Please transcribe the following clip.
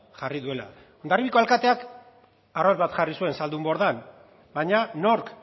jarri duela hondarribiko alkateak arrautza bat jarri zuen zaldunbordan baina nork